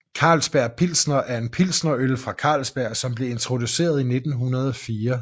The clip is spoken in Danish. Carlsberg Pilsner er en pilsnerøl fra Carlsberg som blev introduceret i 1904